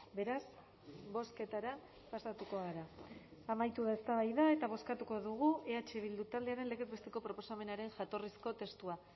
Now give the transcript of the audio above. beraz bozketara pasatuko gara amaitu da eztabaida eta bozkatuko dugu eh bildu taldearen legez besteko proposamenaren jatorrizko testua